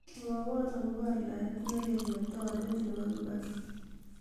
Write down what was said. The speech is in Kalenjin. mwowon agopo aldaet nelel netondet nebo kibaki